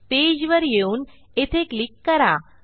पेजवर येऊन येथे क्लिक करा